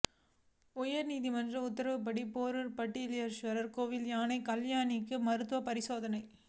உயர்நீதிமன்றம் உத்தரவுப்படி பேரூர் பட்டீஸ்வரர் கோயில் யானை கல்யாணிக்கு மருத்துவ பரிசோதனை